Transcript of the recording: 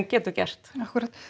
getur gert já akkúrat